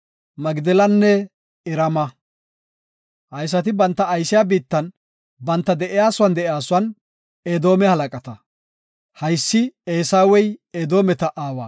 Magdelanne Irama. Haysati banta aysiya biittan, banta de7iyasuwan de7iyasuwan Edoome halaqata. Haysi Eesawey, Edoometa aawa.